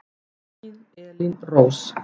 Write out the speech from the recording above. Þín Elín Rós.